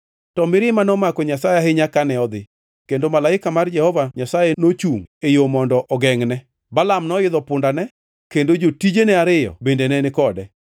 To mirima nomako Nyasaye ahinya kane odhi, kendo malaika mar Jehova Nyasaye nochungʼ e yo mondo ogengʼne. Balaam noidho pundane, kendo jotijene ariyo bende ne ni kode.